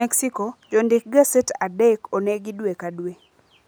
Mexico: Jondik gaset adek onegi dwe ka dwe